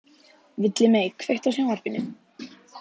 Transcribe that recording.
Villimey, kveiktu á sjónvarpinu.